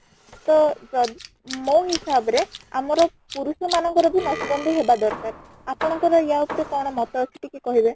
ତ ମୋ ହିସାବ ରେ ଆମର ପୁରୁଷ ମାନ ଙ୍କର ବି ନସବନ୍ଦୀ ହେବା ଦରକାର , ଆପଣ ଙ୍କର ୟା ଉପରେ କ'ଣ ମତ ଅଛି ଟିକେ କହିବେ ?